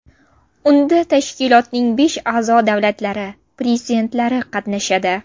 Unda tashkilotning besh a’zo-davlatlari prezidentlari qatnashadi.